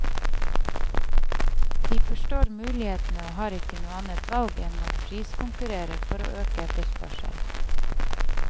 De forstår mulighetene og har ikke noe annet valg enn å priskonkurrere for å øke etterspørselen.